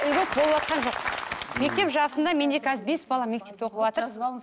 льгот болыватқан жоқ мектеп жасында менде қазір бес бала мектепте оқыватыр